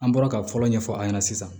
An bɔra ka fɔlɔ ɲɛfɔ a ɲɛna sisan